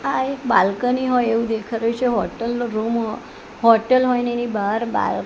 આ એક બાલ્કની હોય એવું દેખાતુ છે હોટલ નો રૂમ હોટલ હોય અને એની બહાર બાલ--